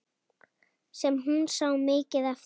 Sem hún sá mikið eftir.